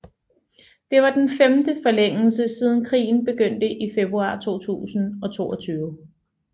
Det var den femte forlængelse siden krigen begyndte i februar 2022